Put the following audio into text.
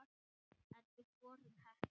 En við vorum heppin.